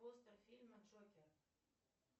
постер фильма джокер